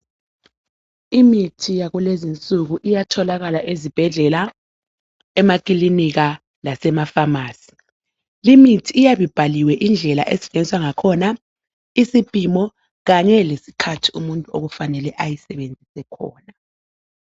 Imithi yakulezinsuku iyatholakala ezibhedlela, emakilinika lasema pharmacy. Limithi iyabe ibhaliwe indlela esetshenziswa ngakhona, isipimo kanye lesikhathi umuntu okufanele ayisebenzise khona